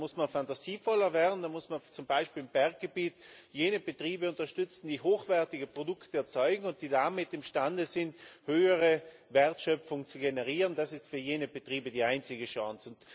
Dann muss man fantasievoller werden, dann muss man zum Beispiel im Berggebiet jene Betriebe unterstützen, die hochwertige Produkte erzeugen und die damit imstande sind, höhere Wertschöpfung zu generieren, das ist für jene Betriebe die einzige Chance.